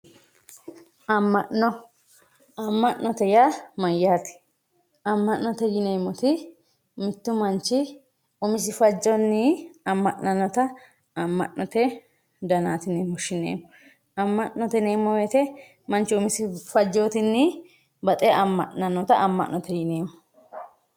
amma'no amma'note yaa mayaate amma'note yineemoti mittu manch umisi fajjonii amma'nannota amma'note danaati yine woshshineemo amma'note yineemo woyiite manchu umisi fajjootinii baxe amma'nanota amma'note yineemo.